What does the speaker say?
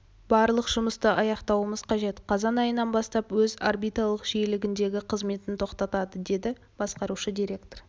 барлық жұмысты аяқтауымыз қажет қазан айынан бастап өз орбиталық жиілігіндегі қызметін тоқтатады деді басқарушы директор